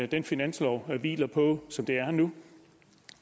den finanslov hviler på som det er nu